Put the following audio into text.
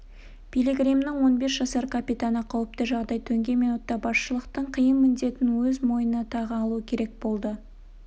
пилигримнің он бес жасар капитаны қауіпті жағдай төнген минутта басшылықтың қиын міндетін өз мойнына тағы алуы керек болды